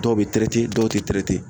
Dɔw bɛ dɔw tɛ